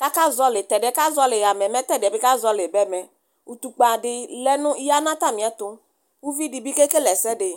kakǝzɔɔlɩ tɛdɩɛ kazɔɔlɩ ɣame mɛ teɛdɩɛ bɩ kazɔlɩ bɛmɛ ʋtʋkpǝ dɩ ya nʋ atamɩɛtʋ ʋvi dɩ bɩ kekele ɛsɛdɩ